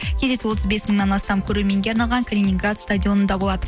кездесу отыз бес мыңнан астам көрерменге арналған калининград стадионында болады